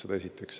Seda esiteks.